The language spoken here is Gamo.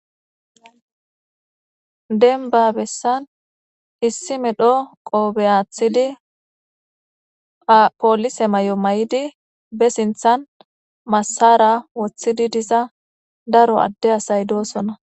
denba bessan issi medho qoobe aathidi apoolise may7o may7idi be sinthan massara woththidi diza daro adde asay doosona